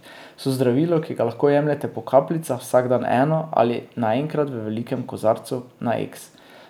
So zdravilo, ki ga lahko jemljete po kapljicah, vsak dan eno, ali naenkrat v velikem kozarcu, na eks.